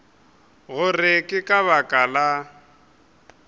gore ke ka lebaka la